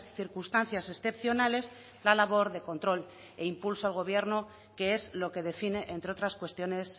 circunstancias excepcionales la labor de control e impulso al gobierno que es lo que define entre otras cuestiones